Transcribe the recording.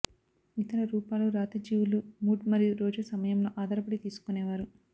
ఇతర రూపాలు రాతి జీవులు మూడ్ మరియు రోజు సమయంలో ఆధారపడి తీసుకునేవారు